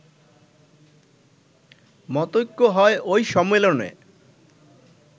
মতৈক্য হয় ওই সম্মেলনে